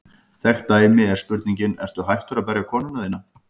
Þekkt dæmi er spurningin: Ertu hættur að berja konuna þína?